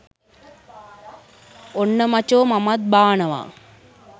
ඔන්න මචෝ මමත් බානවා